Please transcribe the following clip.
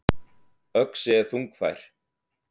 Öxi er þungfær.